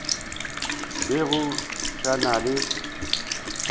be go sa na le